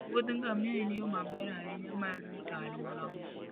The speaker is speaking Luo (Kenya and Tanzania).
wuodh ngamia en yo maber ahinya mar rito alworawa